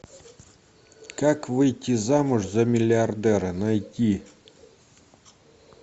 как выйти замуж за миллиардера найти